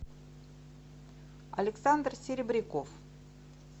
александр серебряков